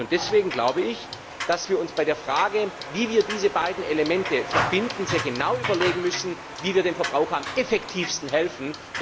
Deswegen glaube ich, dass wir uns bei der Frage, wie wir diese beiden Elemente verbinden, sehr genau überlegen müssen, wie wir den Verbrauchern am effektivsten helfen.